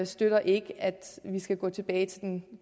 støtter ikke at vi skal gå tilbage til den